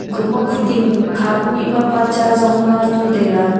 aga ma khu ding kha pu mihpa pa cha ajong la tu taiga.